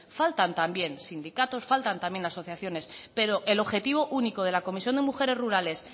faltan también sindicatos faltan también asociaciones pero el objetivo único de la comisión de mujeres rurales